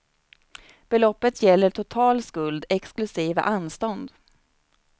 Beloppet gäller total skuld exklusive anstånd.